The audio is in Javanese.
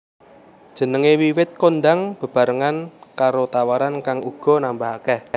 Jenengé wiwit kondhang bebarengan karo tawaran kang uga nambah akèh